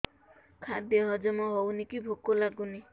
ଖାଦ୍ୟ ହଜମ ହଉନି କି ଭୋକ ଲାଗୁନି